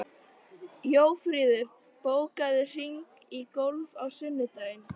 Jófríður, bókaðu hring í golf á sunnudaginn.